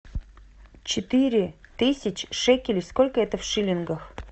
четыре тысячи шекелей сколько это в шиллингах